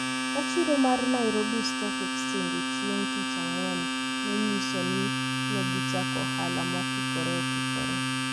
ka chiro mar Nairobi Stock Exchange e chieng’ tich ang’wen ne nyiso ni ne gichako ohala mokikore okikore.